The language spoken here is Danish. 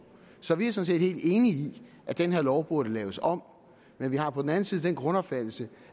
så vi er sådan set helt enige i at den her lov burde laves om men vi har på den anden side den grundopfattelse